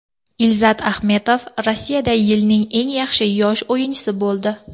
Ilzat Ahmetov Rossiyada yilning eng yaxshi yosh o‘yinchisi bo‘ldi.